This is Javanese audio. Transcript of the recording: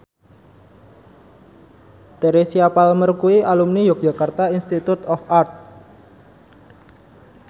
Teresa Palmer kuwi alumni Yogyakarta Institute of Art